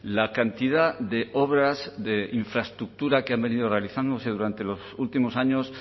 la cantidad de obras de infraestructura que han venido realizándose durante los últimos años